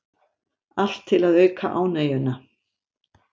Allt til að auka ánægjuna